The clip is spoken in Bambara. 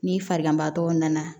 Ni farigantɔ nana